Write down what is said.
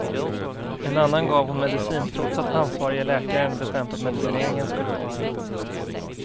En annan gav hon medicin trots att ansvarige läkaren bestämt att medicineringen skulle upphöra.